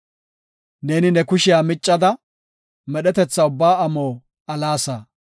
Neeni ne kushiya miccada, medhetetha ubbaa amo alaasa.